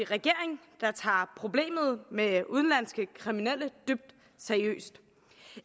regering der tager problemet med udenlandske kriminelle dybt seriøst